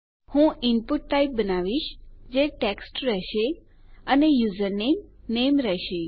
હું input type બનાવીશ જે ટેક્સ્ટ રહેશે અને યુઝરનેમ નેમ રહેશે